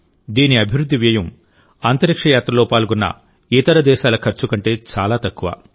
దీని అభివృద్ధి వ్యయం అంతరిక్ష యాత్రలో పాల్గొన్న ఇతర దేశాల ఖర్చు కంటే చాలా తక్కువ